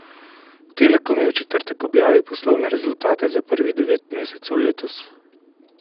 Telekom je v četrtek objavil poslovne rezultate za prvih devet mesecev letos.